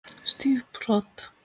Stíf brot.